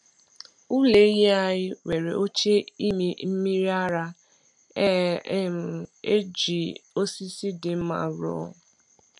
Ụlọ ehi anyị nwere oche ịmị mmiri ara e um ji osisi dị mma rụọ.